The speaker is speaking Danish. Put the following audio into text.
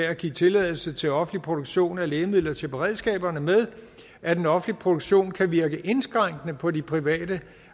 at give tilladelse til offentlig produktion af lægemidler til beredskaberne med at den offentlige produktion kan virke indskrænkende på de private